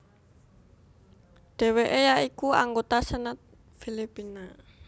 Dheweke ya iku anggota Senat Filipina